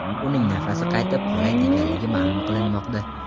Uning nafasi qaytib qolay deganligi ma’lum qilinmoqda.